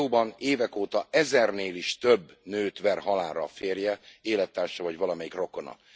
Az EU ban évek óta ezernél is több nőt ver halálra a férje, élettársa vagy valamelyik rokona.